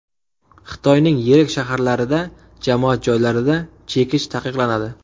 Xitoyning yirik shaharlarida jamoat joylarida chekish taqiqlanadi.